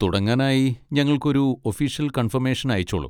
തുടങ്ങാനായി ഞങ്ങൾക്കൊരു official confirmation അയച്ചോളൂ.